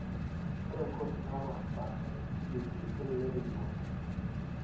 Ore incoursi naapaashipaasha eCBT kelelek eyieuni.